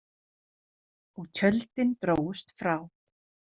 Og tjöldin drógust frá.